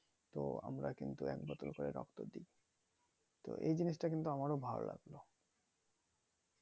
তো আমরা কিন্তু এক বোতল করে রক্ত দি তো এই জিনিষটা কিন্তু আমারও ভালো লাগলো